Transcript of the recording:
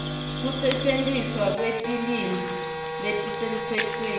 kusetjentiswa kwetilwimi letisemtsetfweni